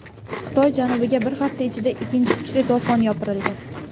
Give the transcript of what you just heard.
Xitoy janubiga bir hafta ichida ikkinchi kuchli to‘fon yopirildi.